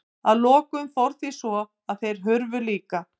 Að lokum fór því svo að þeir hurfu líka.